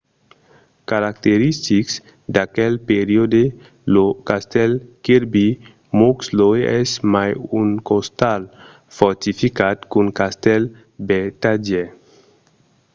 caracteristic d’aquel periòde lo castèl kirby muxloe es mai un ostal fortificat qu’un castèl vertadièr